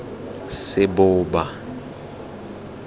seboba